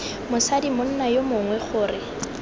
mosadi monna yo mongwe gore